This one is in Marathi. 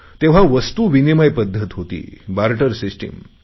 तेव्हा वस्तू विनिमय पध्दत होती बार्टर सिस्टीम